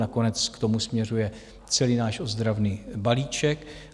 Nakonec k tomu směřuje celý náš ozdravný balíček.